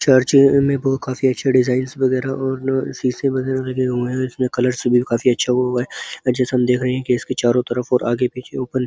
Church में बहु काफी अच्छे डिजाइंस वगैरा और शीशे वगैरा लगे हुए हैं। इसमें कलर काफी अच्छा व्यू है और जैसा हम देख रहे हैं कि इसके चारों तरफ और आगे पीछे और ऊपर नी --